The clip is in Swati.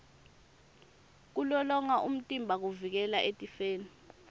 kulolonga umtimba kuvikela etifeni